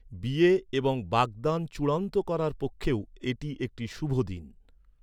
বিয়ে এবং বাগদান চূড়ান্ত করার পক্ষেও এটি একটি শুভ দিন।